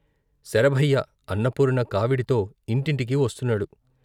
శరభయ్య అన్నపూర్ణ కావిడితో ఇంటింటికీ వస్తున్నాడు.